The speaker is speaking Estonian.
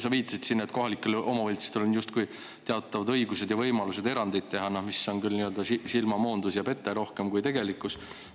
Sa viitasid siin, et kohalikel omavalitsustel on justkui teatavad õigused ja võimalused teha erandid, mis on küll rohkem silmamoondus ja ‑pete kui tegelikkus.